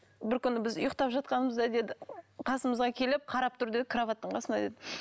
бір күні біз ұйықтап жатқанбыз ды деді қасымызға келіп қарап тұрды деді кроваттың қасына деді